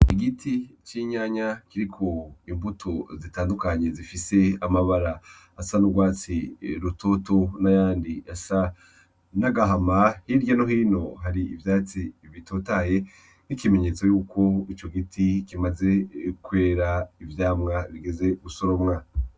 Igiti c’inyanya kiri ku mbuto zitandukanye zifise amabara asa n’urwatsi rutoto n’ayandi asa n’agahama, hirya no hino hari ivyatsi bitotahaye nkimenyetso yuko ico giti kimaze kwera ivyamwa bigeze gusoromwa.